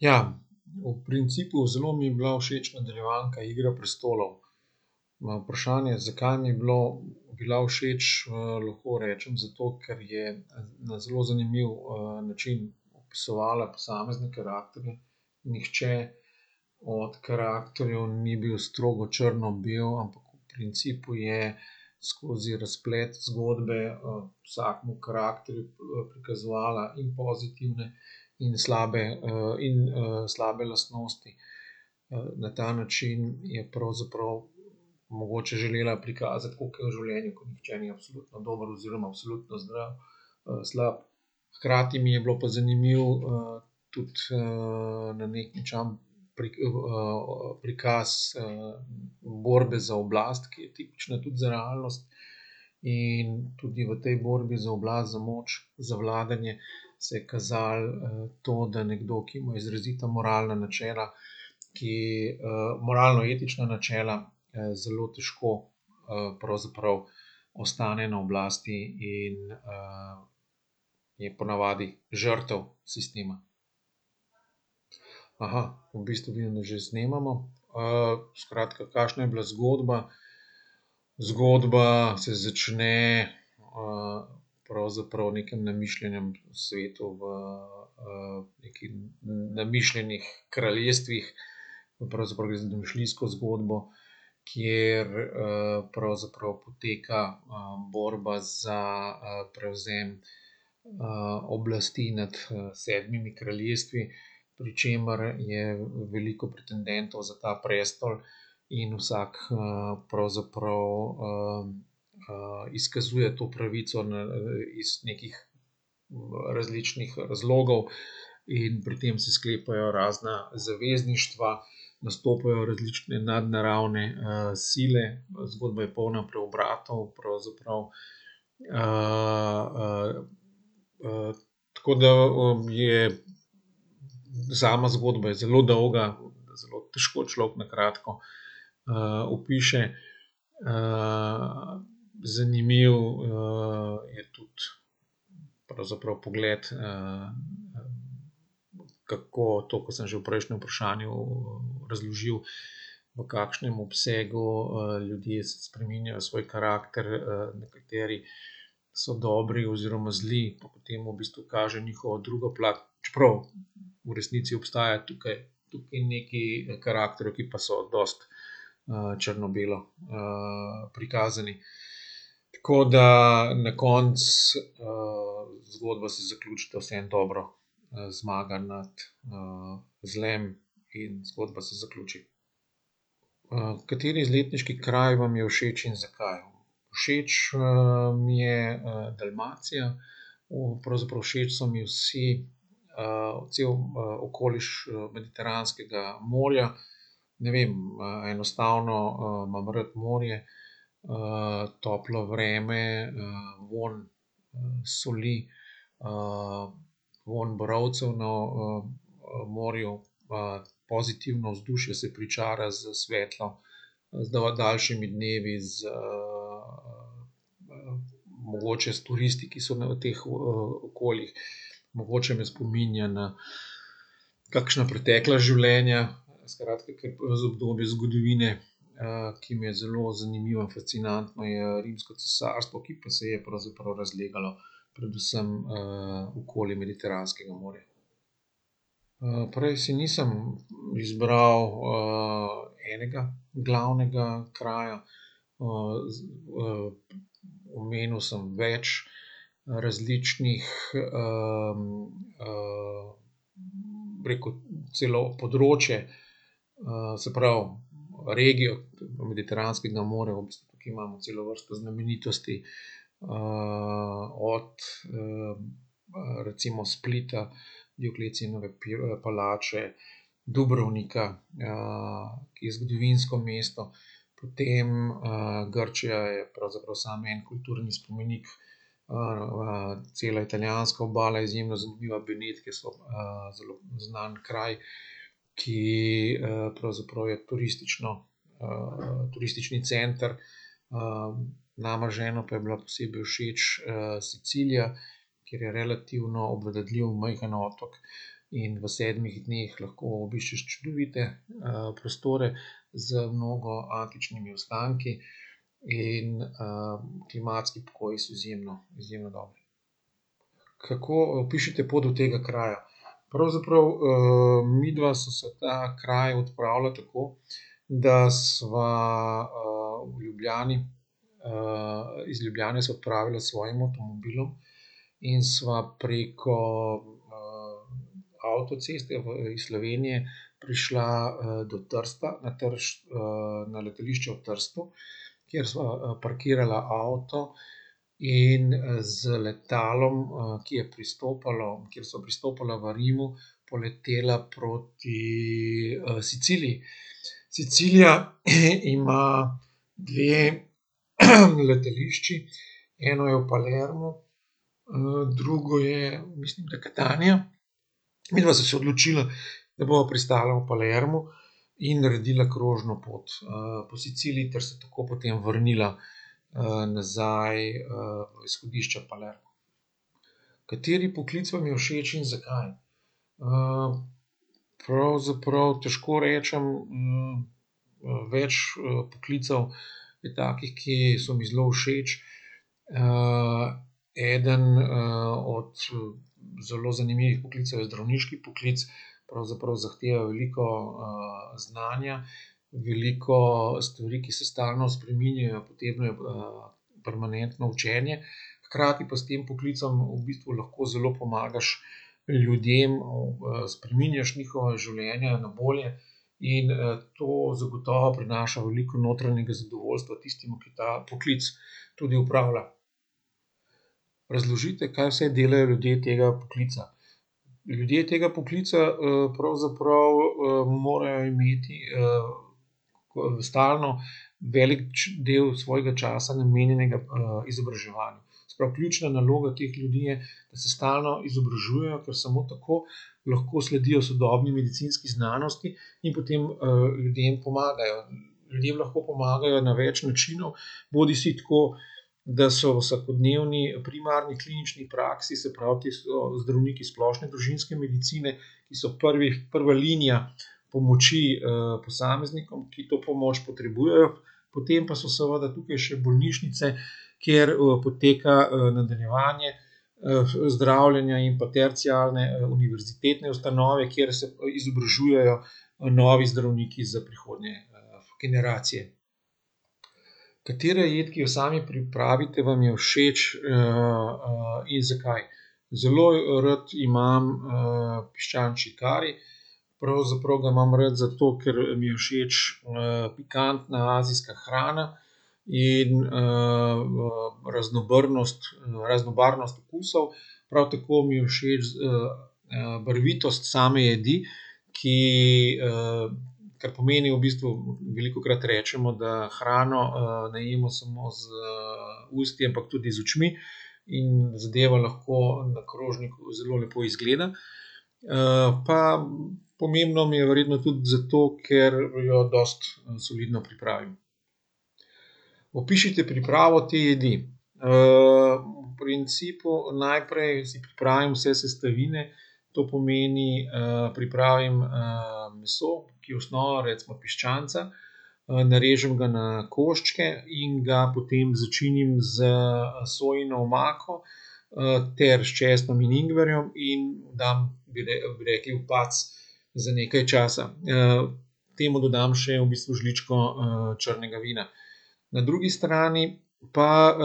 Ja. V principu zelo mi je bila všeč nadaljevanka Igra prestolov. Na vprašanje, zakaj mi je bilo, bila všeč, lahko rečem, zato ker je na zelo zanimiv, način opisovala posamezne karakterje. Nihče od karakterjev ni bil strogo črno-bel, ampak v principu je skozi razplet zgodbe, vsakemu karakterju, prikazovala in pozitivne in slabe, in, slabe lastnosti. na ta način je pravzaprav mogoče želela prikazati, koliko je v življenju, ko nihče ni absolutno dober oziroma absolutno slab. Hkrati mi je bilo pa zanimivo, tudi, prikaz, borbe za oblast, ki je tipična tudi za realnost, in tudi v tej borbi za oblast, za moč, za vladanje se je kazalo, to, da nekdo, ki ima izrazita moralna načela, ki, moralno-etična načela, zelo težko, pravzaprav ostane na oblasti in, je po navadi žrtev sistema. v bistvu mi že snemamo. skratka, kakšna je bila zgodba. Zgodba se začne, pravzaprav v nekem namišljenem svetu v, v nekih namišljenih kraljestvih. Pravzaprav gre za domišljijsko zgodbo, kjer, pravzaprav poteka, borba za, prevzem, oblasti nad, sedmimi kraljestvi, pri čemer je veliko pretendentov za ta prestol in vsak, pravzaprav, izkazuje to pravico na, iz nekih, različnih razlogov in pri tem se sklepajo razna zavezništva, nastopajo različne nadnaravne, sile, zgodba je polna preobratov pravzaprav, tako da je sama zgodba je zelo dolga, zelo težko človek na kratko, opiše, zanimiv, je tudi pravzaprav pogled, kako to, ko sem že v prejšnjem vprašanju, razložil, v kakšnem obsegu, ljudje spreminjajo svoj karakter, nekateri so dobri oziroma zdajle pa potem v bistvu kaže njihovo drugo plat, čeprav v resnici obstaja tukaj, tukaj nekaj karakterjev, ki pa so dosti, črno-belo, prikazani. Tako da na koncu, zgodba se zaključi, da vseeno dobro, zmaga nad, zlim in zgodba se zaključi. kateri izletniški kraj vam je všeč in zakaj? Všeč, mi je, Dalmacija, o pravzaprav všeč so mi vsi, cel, okoliš, Mediteranskega morja. Ne vem, a enostavno, imam rad morje, toplo vreme, soli, vonj borovcev na, morju. pozitivno vzdušje se pričara s svetlo, z daljšimi dnevi z, mogoče s turisti, ki so na teh, okoljih, mogoče me spominja na kakšna pretekla življenja, skratka, z obdobji zgodovine, ki mi je zelo zanimiva, fascinantna, je Rimsko cesarstvo, ki pa se je pravzaprav razlegalo predvsem, okoli Mediteranskega morja. prej si nisem izbral, enega glavnega kraja. z, omenil sem več različnih, bi rekel celo področje. se pravi regijo Mediteranskega morja v bistvu tukaj imamo celo vrsto znamenitosti. od, recimo Splita, Dioklecijanove palače, Dubrovnika, ki je zgodovinsko mesto, potem, Grčija je pravzaprav sam en kulturni spomenik, cela italijanska obala je izjemno zanimiva. Benetke so, zelo znan kraj, ki, pravzaprav je turistično, turistični center. nama z ženo pa je bila posebej všeč, Sicilija, ker je relativno majhen otok in v sedmih dneh lahko obiščeš čudovite, prostore z mnogo antičnimi ostanki in, klimatski pogoji so izjemno, izjemno dobri. Kako, opišite pot do tega kraja. Pravzaprav, midva sva se v ta kraj odpravila tako, da sva, ob Ljubljani, iz Ljubljane sva odpravila s svojim avtomobilom in sva preko, avtoceste v, iz Slovenije prišla, do Trsta na na letališče v Trstu, kjer sva, parkirala avto in, z letalom, ki je pristopalo, kjer sva prestopala v Rimu, poletela proti, Siciliji. Sicilija ima dve letališči, eno je v Palermu, drugo je mislim, da je Catania. Midva sva se odločila, da bova pristala v Palermu in naredila krožno pot, po Siciliji ter se tako potem vrnila, nazaj, v izhodišče Palermo. Kateri poklic vam je všeč in zakaj? pravzaprav težko rečem, več, poklicev je takih, ki so mi zelo všeč. eden od zelo zanimivih poklicev je zdravniški poklic. Pravzaprav zahteva veliko, znanja, veliko stvari, ki se stalno spreminjajo, potegnejo, permanentno učenje, hkrati pa s tem poklicem v bistvu lahko zelo pomagaš ljudem, spreminjaš njihova življenja na bolje in, to zagotovo prinaša veliko notranjega zadovoljstva tistim, ki ta poklic tudi opravljajo. Razložite, kaj vse delajo ljudje tega poklica. Ljudje tega poklica, pravzaprav, morajo imeti, stalno velik del svojega časa namenjenega, izobraževanju. Se pravi, ključna naloga teh ljudi je, da se stalno izobražujejo, ker samo tako lahko sledijo sodobni medicinski znanosti in potem, ljudem pomagajo, ljudem lahko pomagajo na več načinov, bodisi tako, da so v vsakodnevni primarni klinični praksi, se pravi, ti so zdravniki splošne družinske medicine, ki so prvih, prva linija pomoči, posameznikom, ki to pomoč potrebujejo. Potem pa so seveda tukaj še bolnišnice, kjer, poteka, nadaljevanje, zdravljenja in pa terciarne, univerzitetne ustanove, kjer se izobražujejo, novi zdravniki za prihodnje generacije. Katera jed, ki jo sami pripravite, vam je všeč, in zakaj? Zelo, rad imam, piščančji kari. Pravzaprav ga imam rad zato, ker mi je všeč, pikantna azijska hrana in, raznobrnost, raznobarvnost okusov. prav tako mi je všeč, barvitost same jedi, ki, kar pomeni v bistvu, velikokrat rečemo, da hrano, ne jemo samo z, usti, ampak tudi z očmi in zadevo lahko na krožniku zelo lepo izgleda. pa pomembno mi je verjetno tudi zato, ker jo dosti solidno pripravim. Opišite pripravo te jedi. v principu najprej si pripravim vse sestavine, to pomeni, pripravim, meso, ki je osnova, recimo piščanca, narežem ga na koščke in ga potem začinim s, sojino omako, ter s česnom in ingverjem in dam bi bi rekli, v pac za nekaj časa. temu dodam še v bistvu žličko, črnega vina. Na drugi strani pa,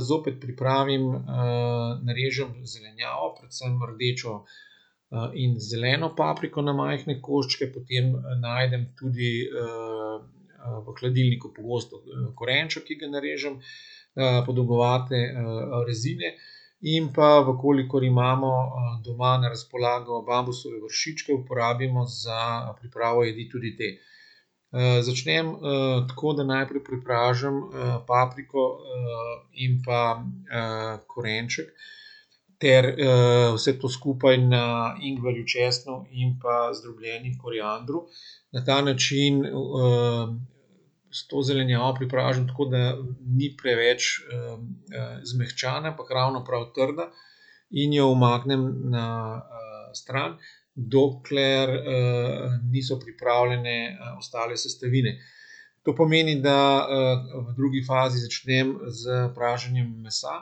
zopet pripravim, narežem zelenjavo, predvsem rdečo, in zeleno papriko na majhne koščke, potem najdem tudi, v hladilniku pogosto korenček, ki ga narežem. podolgovate, rezine in pa, v kolikor imamo, doma na razpolago bambusove vršičke, uporabimo za pripravo jedi tudi te. začnem, tako, da najprej prepražim, papriko, in pa, korenček ter, vse to skupaj na ingverju, česnu in pa zdrobljenem koriandru na ta način, s to zelenjavo prepražim tako, da ni preveč, zmehčana, ampak ravno prav trda in jo umaknem na, stran, dokler, niso pripravljene ostale sestavine, to pomeni, da, v drugi fazi začnem s praženjem mesa,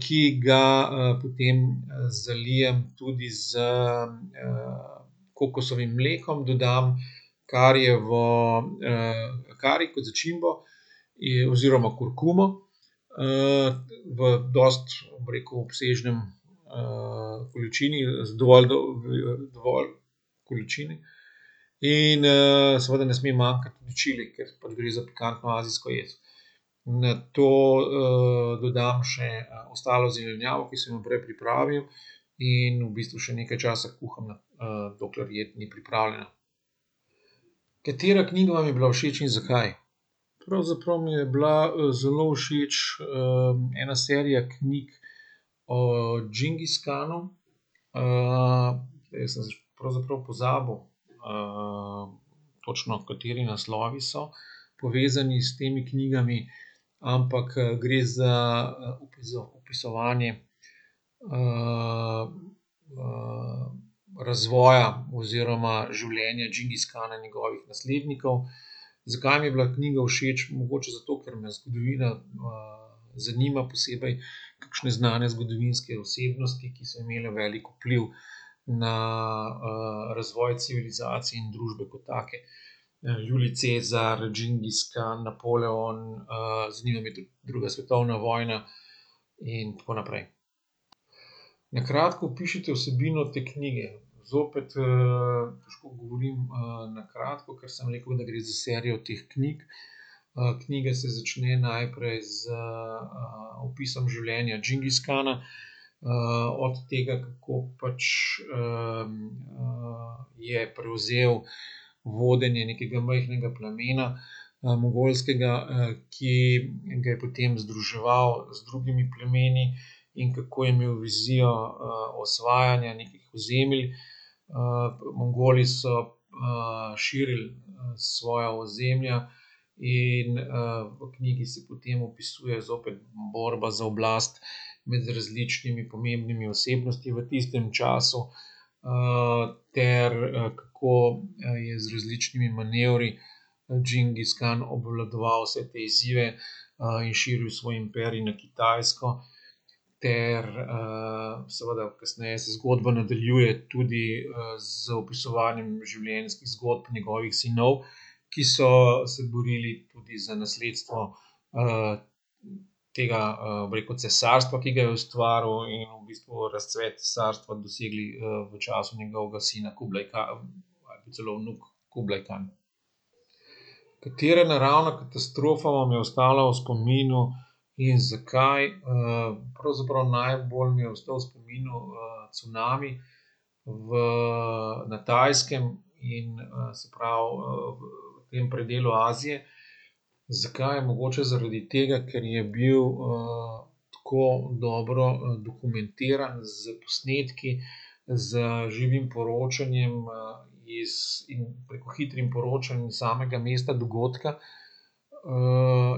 ki ga, potem zalijem tudi s, kokosovim mlekom, dodam karijevo, kari kot začimbo, oziroma kurkumo. v dosti, bi rekel, obsežni, količini, z dovolj količine. In, seveda ne sme manjkati tudi čili, ker pač gre za pikantno azijsko jed. Nato, dodam še ostalo zelenjavo, ki sem jo prej pripravil, in v bistvu še nekaj časa kuham, dokler jed ni pripravljena. Katera knjiga vam je bila všeč in zakaj? Pravzaprav mi je bila, zelo všeč, ena serija knjig o Džingiskanu, prej sem pravzaprav pozabil, točno, kateri naslovi so povezani s temi knjigami, ampak, gre za, opisovanje, razvoja oziroma življena Džingiskana in njegovih naslednikov. Zakaj mi je bila knjiga všeč? Mogoče zato, ker me zgodovina, zanima, posebej kakšne znane zgodovinske osebnosti, ki so imele velik vpliv na, razvoj civilizacij in družbe kot take. Julij Cezar, Džingiskan, Napoleon, zanima me tudi druga svetovna vojna in tako naprej. Na kratko opišite vsebino te knjige. Zopet, težko govorim, na kratko, ker sem rekel, da gre za serijo teh knjig. knjiga se začne najprej z, opisom življenja Džingiskana, od tega, kako pač je prevzel vodenje nekega majhnega plemena, mongolskega, ki ga je potem združeval z drugimi plemeni in kako je imel vizijo, osvajanja nekih ozemelj. Mongoli so, širili, svoja ozemlja in, v knjigi se potem opisuje zopet borba za oblast med različnimi pomembnimi osebnostmi v tistem času, ter, kako je z različnimi manevri Džingiskan obvladoval vse te izzive, in širil svoj imperij na Kitajsko ter, seveda kasneje se zgodba nadaljuje tudi, z opisovanjem življenjskih zgodb njegovih sinov, ki so se borili tudi za nasledstvo, tega, bi rekel, cesarstva, ki ga je ustvaril, in v bistvu razcvet cesarstva dosegli, v času njegovega sina Kublajka celo vnuk Kublajkan. Katera naravna katastrofa vam je ostala v spominu in zakaj? pravzaprav najbolj mi je ostal v spominu, cunami v na Tajskem in, se pravi, v tem predelu Azije. Zakaj, mogoče zaradi tega, ker je bil, tako dobro, dokumentiran s posnetki, z živim poročanjem, iz bi rekel hitrim poročan samega mesta dogodka,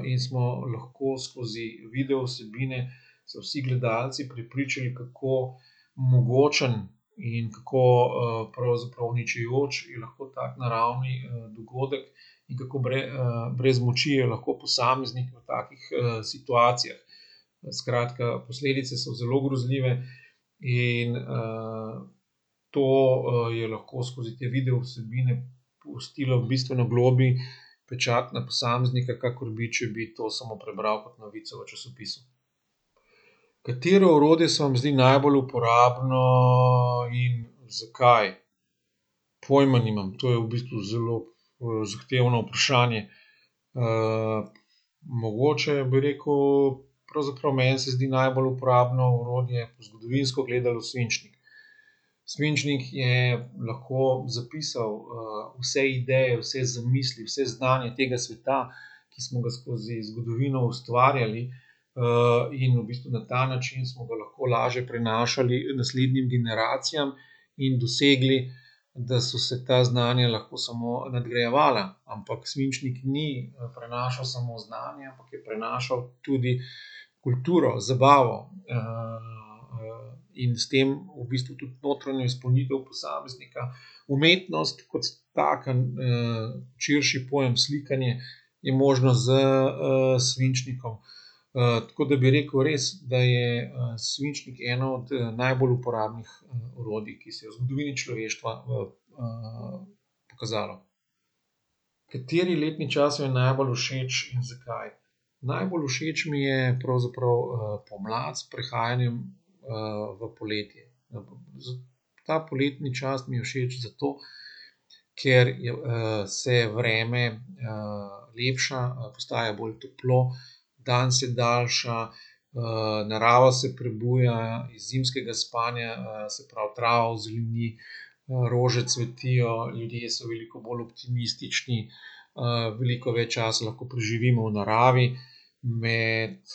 in smo lahko skozi video vsebine se vsi gledalci prepričali, kako mogočen in kako, pravzaprav uničujoč je lahko tak naravni, dogodek in kako brez moči je lahko posameznik v takih, situacijah. skratka, posledice so zelo grozljive in, to, je lahko skozi te video vsebine pustilo bistveno globlji pečat na posameznika, kakor bi, če bi to samo prebral kot novico v časopisu. Katero orodje se vam zdi najbolj uporabno in zakaj? Pojma nimam, to je v bistvu zelo, zahtevno vprašanje. mogoče bi rekel pravzaprav meni se zdi najbolj uporabno orodje, zgodovinsko gledano, svinčnik. Svinčnik je lahko zapisal, vse ideje, vse zamisli, vse znanje tega sveta, ki smo ga skozi zgodovino ustvarjali. in v bistvu na ta način smo ga lahko lažje prenašali naslednjim generacijam in dosegli, da so se ta znanja lahko samo nadgrajevala, ampak svinčnik ni, prenašal samo znanja, ampak je prenašal tudi kulturo, zabavo, in s tem v bistvu tudi notranjo izpolnitev posameznika. Umetnost kot taka, širši pojem slikanje je možno s, svinčnikom, tako da bi rekel res, da je, svinčnik eno od, najbolj uporabnih, orodij, ki se je v zgodovini človeštva, pokazalo. Kateri letni čas vam je najbolj všeč in zakaj? Najbolj všeč mi je pravzaprav, pomlad, s prehajanjem, v poletje, Ta poletni čas mi je všeč zato, ker je, se vreme, lepša, postaja bolj toplo, dan se daljša, narava se prebuja iz zimskega spanja, se pravi trava ozeleni, rože cvetijo, ljudje so veliko bolj optimistični, veliko več časa lahko preživimo v naravi med,